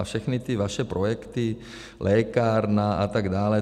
A všechny ty vaše projekty, lékárna, a tak dále.